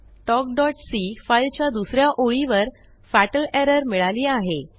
talkसी file च्या दुस या ओळीवर फाटल एरर मिळाली आहे